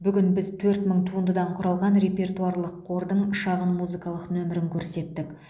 бүгін біз төрт мың туындыдан құралған репертуарлық қордың шағын музыкалық нөмірін көрсеттік